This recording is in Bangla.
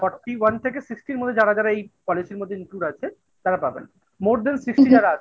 Forty one থেকে Sixtyর মধ্যে যারা যারা এই policy র মধ্যে includeআছে তারা পাবেন। More Than Sixty যারা আছে।